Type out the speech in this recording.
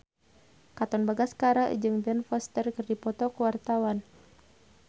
Katon Bagaskara jeung Ben Foster keur dipoto ku wartawan